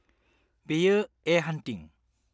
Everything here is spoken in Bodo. -बेयो, 'ए हान्टिं'।